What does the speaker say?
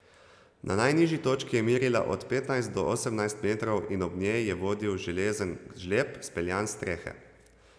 Na najnižji točki je merila od petnajst do osemnajst metrov in ob njej je vodil železen žleb, speljan s strehe.